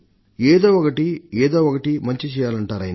ఏదో ఒకటి ఏదో ఒకటి మంచి చెయ్యాలంటారాయన